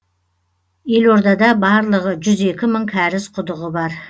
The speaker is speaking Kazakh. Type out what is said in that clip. елордада барлығы жүз екі мың кәріз құдығы бар